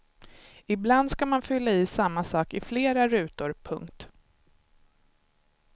Ibland ska man fylla i samma sak i flera rutor. punkt